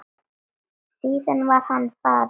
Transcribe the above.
Síðan var hann farinn.